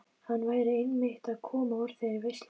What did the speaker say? Hann væri einmitt að koma úr þeirri veislu.